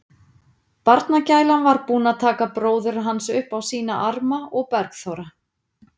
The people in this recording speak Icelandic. Barnagælan var búin að taka bróður hans upp á sína arma og Bergþóra